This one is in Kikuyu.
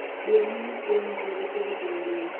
ndiamunyitire onakorwo tũtiahitanirie